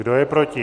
Kdo je proti?